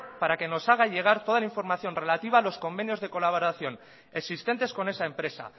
para que nos haga llegar toda la información relativa a los convenios de colaboración existentes con esa empresa